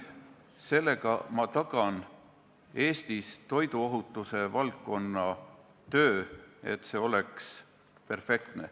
Sellega ma tagan, et Eestis oleks toiduohutusvaldkonna töö perfektne.